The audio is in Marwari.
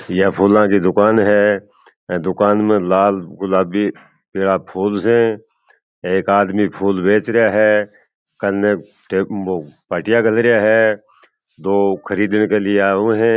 ये फूलो की दुकान है दुकान में लाल गुलाबी पीला फूल है एक आदमी फूल बेच रहा है पाटिया घल रहा है दो खरीदने के लिए आये हुए है।